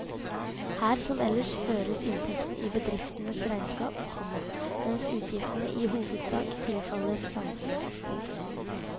Her som ellers føres inntektene i bedriftenes regnskap, komma mens utgiftene i hovedsak tilfaller samfunnet. punktum